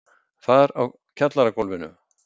Þar á kjallaragólfinu.